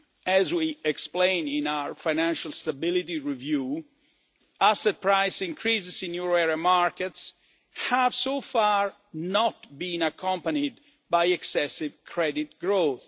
As we explain in our Financial Stability Review, asset price increases in euro area markets have so far not been accompanied by excessive credit growth.